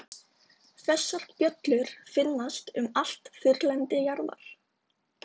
Þessar bjöllur finnast um allt þurrlendi jarðar.